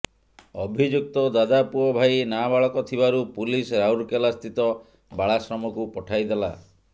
ଅଭିଯୁକ୍ତ ଦାଦା ପୁଅ ଭାଇ ନାବାଳକ ଥିବାରୁ ପୁଲିସ ରାଉରକେଲାସ୍ଥିତ ବାଳାଶ୍ରମକୁ ପଠାଇଦେଲା